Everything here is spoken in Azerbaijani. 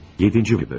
Yeddinci bölümdən.